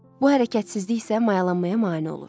Bu hərəkətsizlik isə mayalanmaya mane olur.